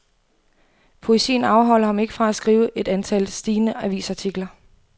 Poesien afholder ham ikke fra at skrive et stigende antal avisartikler.